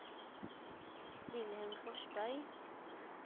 Vilhelm Forsberg